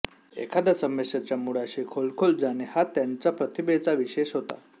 एखाद्या समस्येच्या मुळाशी खोल खोल जाणे हा त्यांच्या प्रतिभेचा विशेष होता